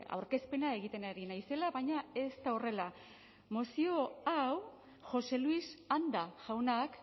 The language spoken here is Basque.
aurkezpena egiten ari naizela baina ez da horrela mozio hau jose luis anda jaunak